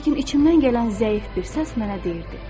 Lakin içimdən gələn zəif bir səs mənə deyirdi: